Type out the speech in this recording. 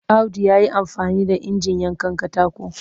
Audu ya yi amfani da injin yankan katako